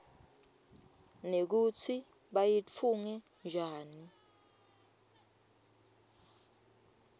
nekutsi bayitfunge njani